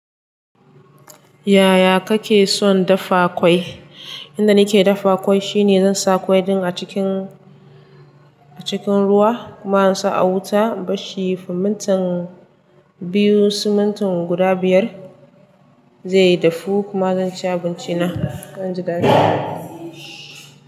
Yaya kake son dafa ƙwai? Inda nake dafa ƙwai shine zan saka ƙwan a cikin, a cikin ruwa kuma in saka a wuta in bar shi na minti biyu ko minti biyar zai dafu kuma zan ci abinci na. Zan ji dadi.